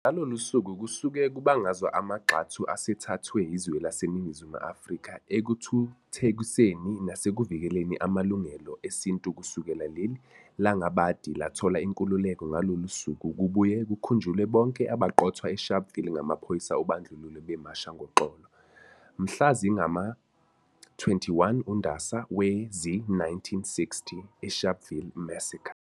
Ngalolu suku kusuke kubungazwa amagxathu asethathwe izwe lase Ningizimu Afrika ekuthuthekiseni nasekuvikeleni Amalungelo Esintu kusukela lel langabadi lathola inkululeko Ngalolu suku kubuye kukhunjulwe bonke abaqothwa eSharpvile ngamaphoyisa obandlululo bemasha ngoxolo, mhla zingama-21 uNdasa wezi-1960, "Sharpville Massacre".